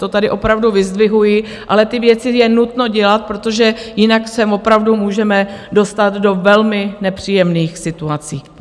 To tady opravdu vyzdvihuji, ale ty věci je nutno dělat, protože jinak se opravdu můžeme dostat do velmi nepříjemných situací.